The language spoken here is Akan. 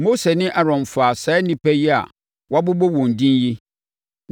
Mose ne Aaron faa saa nnipa yi a wɔabobɔ wɔn edin yi,